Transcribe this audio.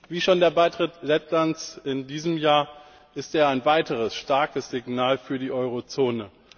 Wie schon der Beitritt Lettlands in diesem Jahr ist er ein weiteres starkes Signal für die Euro Zone.